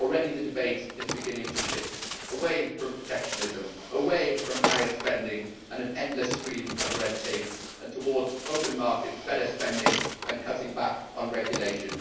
The debate is already beginning to shift away from protectionism, away from higher spending and an endless stream of red tape and towards open markets, better spending and cutting back on regulation.